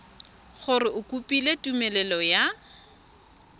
gore o kopile tumelelo ya